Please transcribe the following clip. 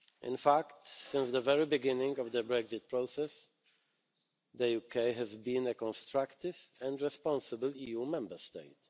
In fact, since the very beginning of the Brexit process, the UK has been a constructive and responsible EU Member State.